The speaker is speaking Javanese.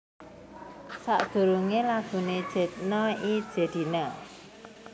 Sakdurungé laguné Jedna i Jedina